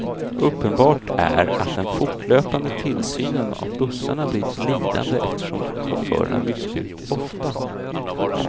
Uppenbart är att den fortlöpande tillsynen av bussarna blivit lidande eftersom chaufförerna bytts ut ofta.